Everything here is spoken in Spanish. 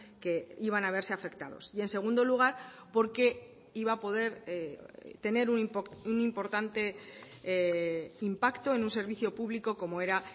que iban a verse afectados y en segundo lugar porque iba a poder tener un importante impacto en un servicio público como era